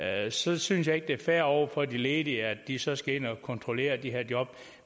ansætte synes jeg ikke det er fair over for de ledige at de så skal ind og kontrollere de her job